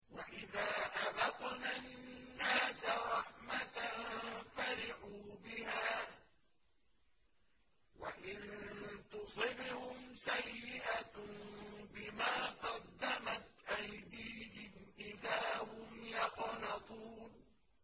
وَإِذَا أَذَقْنَا النَّاسَ رَحْمَةً فَرِحُوا بِهَا ۖ وَإِن تُصِبْهُمْ سَيِّئَةٌ بِمَا قَدَّمَتْ أَيْدِيهِمْ إِذَا هُمْ يَقْنَطُونَ